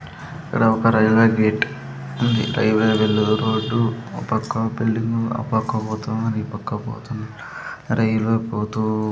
ఇక్కడ ఒక railway gate ఉంది రైలు వెళ్లే రోడ్డు ఓ పక్క బిల్డింగు ఆ పక్క పోతున్నారు ఈ పక్క పోతున్నారు రైలు పోతూ --